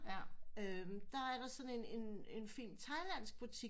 Der er der sådan en en fin thailandsk butik